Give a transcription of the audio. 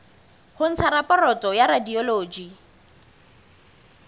ho ntsha raporoto ya radiology